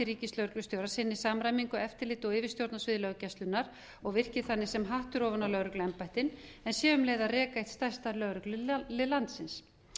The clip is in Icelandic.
ríkislögreglustjóra sinni samræmingu eftirliti og yfirstjórn á sviði löggæslunnar og virki þannig sem hattur ofan á lögregluembættin en sé um leið að reka eitt stærsta lögreglulið landsins